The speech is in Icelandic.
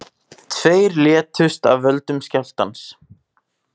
Tveir létust af völdum skjálftans